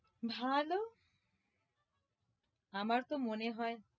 ভালো আমার তো মনে হয়